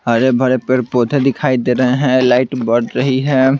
हरे भरे पेड़ पौधे दिखाई दे रहे हैं लाइट बढ़ रही है।